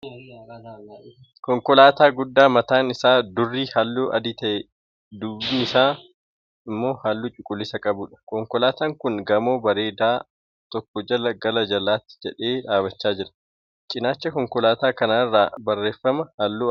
Konkolaataa guddaa mataan isaa durri halluu adii ta'ee, duubii isaa immoo halluu cuquliisa qabuudha. Konkolaataan kun gamoo bareedaa tokko jalaa gara alaatti jedhee dhaabbachaa jira. Cinaacha konkolaataa kanaa irra barreeffama halluu adii qabutu jira.